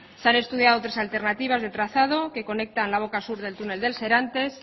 se han estudiado tres alternativas de trazado que conecta la boca sur del túnel de serantes